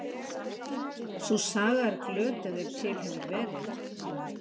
Sú saga er glötuð ef til hefur verið.